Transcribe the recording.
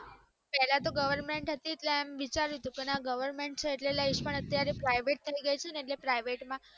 પેલા તો goverment હતી એટલે એમ વિચાર્યું હતું લીસ પણ અત્યારે private થય ગય છે એટલે private bank માં